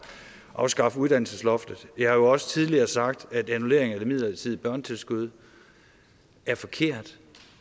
afskaffe uddannelsesloftet jeg har jo også tidligere sagt at annullering af det midlertidige børnetilskud er forkert